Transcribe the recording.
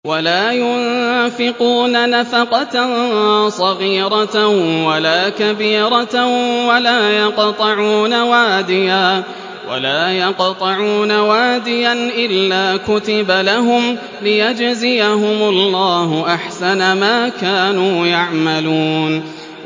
وَلَا يُنفِقُونَ نَفَقَةً صَغِيرَةً وَلَا كَبِيرَةً وَلَا يَقْطَعُونَ وَادِيًا إِلَّا كُتِبَ لَهُمْ لِيَجْزِيَهُمُ اللَّهُ أَحْسَنَ مَا كَانُوا يَعْمَلُونَ